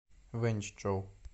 вэньчжоу